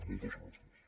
moltes gràcies